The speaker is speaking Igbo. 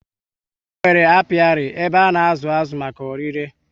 Ha nwèrè apiari, ebe ha na azụ aṅụ maka órí le